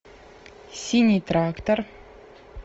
синий трактор